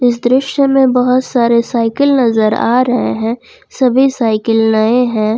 इस दृश्य में बहोत सारे साइकिल नजर आ रहे हैं सभी साइकिल नए है।